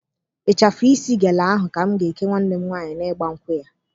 Ịchafụ isi gele ahụ ka m ga-eke nwanne m nwaanyị n'ịgba nkwụ ya